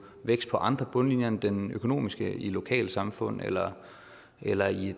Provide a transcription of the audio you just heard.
vækst på andre bundlinjer end den økonomiske i lokalsamfund eller eller i